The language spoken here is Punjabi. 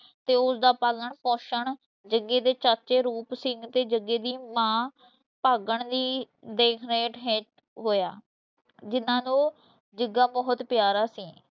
ਤੇ ਉਸ ਦਾ ਪਾਲਣ-ਪੋਸ਼ਣ ਜੱਗੇ ਦੇ ਚਾਚੇ ਰੂਪ ਸਿੰਘ ਤੇ ਜੱਗੇ ਦੀ ਮਾਂ ਭਾਗਣ ਦੀ ਦੇਖ ਰੇਖ ਹੇਠ ਹੋਇਆ, ਜਿਨ੍ਹਾਂ ਨੂੰ ਜੱਗਾ ਬਹੁਤ ਪਿਆਰਾ ਸੀ।